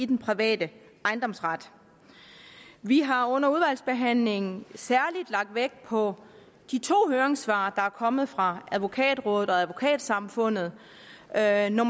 den private ejendomsret vi har under udvalgsbehandlingen særlig lagt vægt på de to høringssvar der er kommet fra advokatrådet og advokatsamfundet det andet